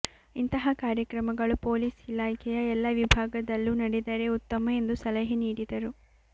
ಇಂತಹ ಕಾರ್ಯಕ್ರಮಗಳು ಪೊಲೀಸ್ ಇಲಾಖೆಯ ಎಲ್ಲಾ ವಿಭಾಗ ದಲ್ಲೂ ನಡೆದರೆ ಉತ್ತಮ ಎಂದು ಸಲಹೆ ನೀಡಿದರು